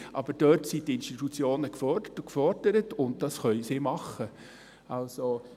Aber dort sind die Institutionen gefordert, und das können sie tun.